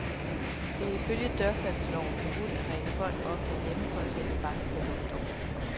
Det er ifølge dørsalgsloven forbudt at ringe folk op derhjemme for at sælge bankprodukter.